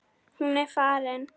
Hún er farin.